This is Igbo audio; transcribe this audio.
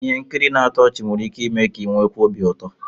Ihe nkiri na-atọ ọchị nwere ike ime ka ị nwekwuo obi ụtọ